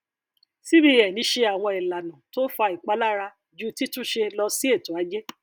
cbn ṣe àwọn ìlànà tó fa ìpalára ju títúnṣe lọ sí ètò ajé